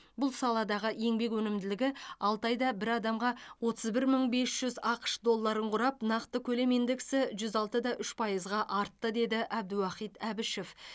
бұл саладағы еңбек өнімділігі алты айда бір адамға отыз бір мың бес жүз ақш долларын құрап нақты көлем индексі жүз алты да үш пайызға артты деді абдуахит әбішев